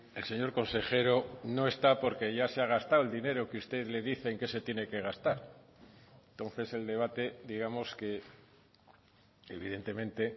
el señor consejero no está porque ya se ha gastado el dinero que usted le dicen que se tiene que gastar entonces el debate digamos que evidentemente